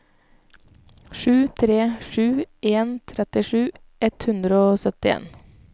sju tre sju en trettisju ett hundre og syttien